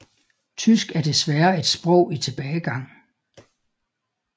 Tysk er desværre et sprog i tilbagegang